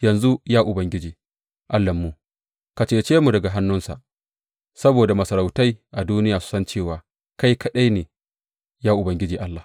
Yanzu, ya Ubangiji Allahnmu, ka cece mu daga hannunsa, saboda masarautai a duniya su san cewa kai kaɗai ne, ya Ubangiji, Allah.